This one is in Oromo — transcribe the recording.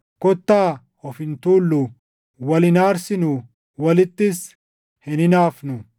Kottaa of hin tuulluu; wal hin aarsinuu; walittis hin hinaafnuu.